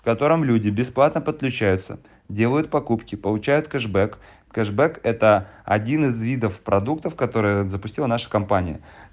котором люди бесплатно подключаются делают покупки получают кэшбэк кэшбэк это один из видов продуктов которые допустил нашей компании